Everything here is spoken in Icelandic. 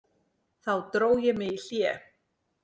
Þá dró ég mig í hlé.